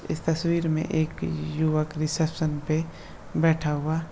इस तस्वीर में एक युवक रिसेप्शन पे बैठा हुआ --